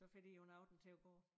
Så får de jo en aften til at gå